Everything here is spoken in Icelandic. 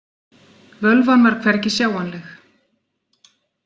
Völvan var hvergi sjáanleg.